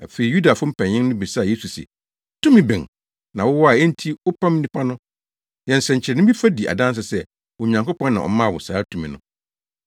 Afei Yudafo mpanyin no bisaa Yesu se, “Tumi bɛn na wowɔ a enti wopam nnipa no? Yɛ nsɛnkyerɛnne bi fa di adanse sɛ Onyankopɔn na ɔmaa wo saa tumi no.”